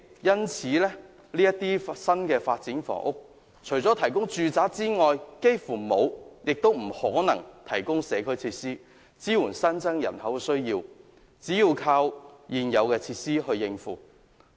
因此，這些新發展除了提供住宅外，幾乎不會亦不可能提供任何社區設施，以支援新增人口的需求，只能靠現有設施來應付。